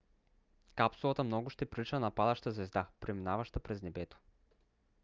капсулата много ще прилича на падаща звезда преминаваща през небето